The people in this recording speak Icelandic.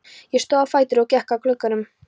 Ég stóð á fætur og gekk að glugganum.